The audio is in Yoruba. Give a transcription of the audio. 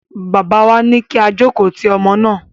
Bàbá wa ní kí á jókòó ti ọmọ náà.